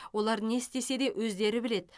олар не істесе де өздері біледі